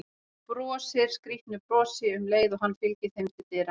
Brosir skrýtnu brosi um leið og hann fylgir þeim til dyra.